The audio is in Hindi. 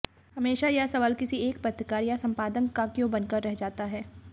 हमेशा यह सवाल किसी एक पत्रकार या संपादक का क्यों बनकर रह जाता है